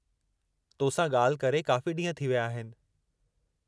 तोसां ॻाल्हि करे काफ़ी ॾींहुं थी विया आहिनि।